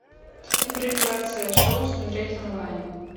импровизация шоу смотреть онлайн